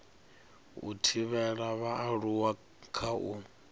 u thivhela vhaaluwa kha u